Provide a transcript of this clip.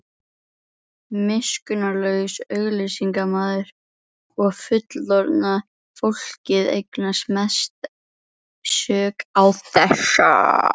Miskunnarlaus auglýsingaiðnaður og fullorðna fólkið eiga mesta sök á þessu.